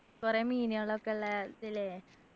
കൊറേ മീനുകളൊക്കെ ഉള്ള തിലെ